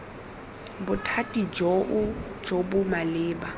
bothati joo jo bo maleba